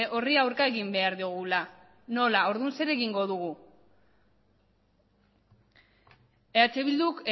horri aurka egin behar diogula nola orduan zer egingo dugu eh bilduk